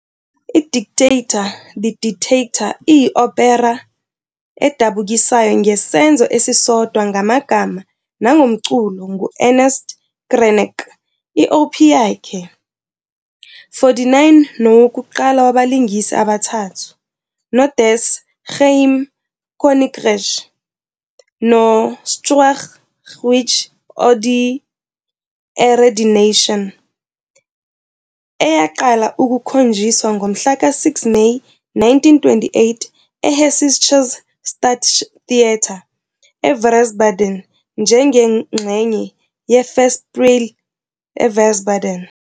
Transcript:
I-Der Diktator, "The Dictator", iyi-opera edabukisayo ngesenzo esisodwa ngamagama nangomculo ngu- Ernst Krenek, i-Op yakhe 49 nowokuqala wabalingisi abathathu, "noDas geheime Königreich" "noSchwergewicht, oder Die Ehre der Nation", eyaqala ukukhonjiswa ngomhlaka 6 Meyi 1928 eHessisches Staatstheater Wiesbaden njengengxenye yeFestspiele Wiesbaden.